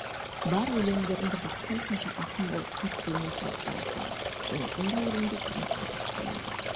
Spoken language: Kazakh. бар өлеңдеріңді бақсам сонша ақын болып қатты өнер тауып барасыңдар және бұндай өлеңдер бұрын қазақ тілінде